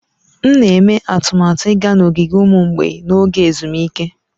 M na-eme atụmatụ ịga n'ogige ụmụ mgbei n'oge ezumike.